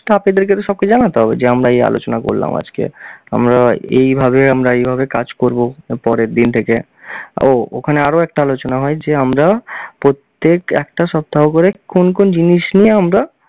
staff এ দেরকে তো সবকিছু জানাতে হবে যে এই আলোচনা করলাম আজকে আমরা এইভাবে আমরা এইভাবে কাজ করব পরের দিন থেকে। ওহ! ওখানে আরও একটা আলোচনা হয় যে আমরা প্রত্যেক একটা সপ্তাহ করে কোন কোন জিনিস নিয়ে আমরা